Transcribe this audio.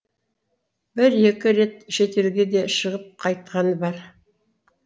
бір екі рет шетелге де шығып қайтқаны бар